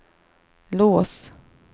lås